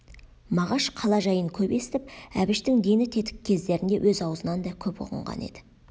мағаш қала жайын көп естіп әбіштің дені тетік кездерінде өз аузынан да көп ұғынған еді